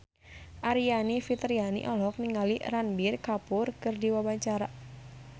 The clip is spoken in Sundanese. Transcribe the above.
Aryani Fitriana olohok ningali Ranbir Kapoor keur diwawancara